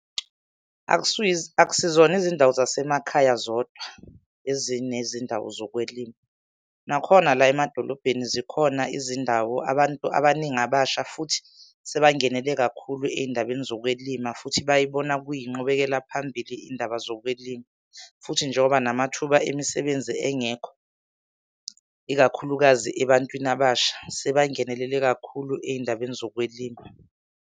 Akusizona izindawo zasemakhaya zodwa ezinezindawo zokwelima, nakhona la emadolobheni zikhona izindawo abantu abaningi abasha futhi sebangenele kakhulu ey'ndabeni zokwelima. Futhi bayibona kuyinqubekela phambili iy'ndaba zokwelima. Futhi njengoba namathuba emisebenzi engekho, ikakhulukazi ebantwini abasha, sebangenelele kakhulu ey'ndabeni zokwelima.